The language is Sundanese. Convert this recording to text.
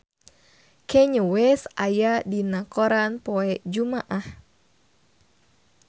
Kanye West aya dina koran poe Jumaah